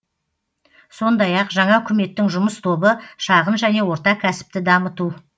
сондай ақ жаңа үкіметтің жұмыс тобы шағын және орта кәсіпті дамыту